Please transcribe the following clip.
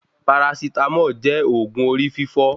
Parasitámọ̀ jẹ́ òògun orí fífọ́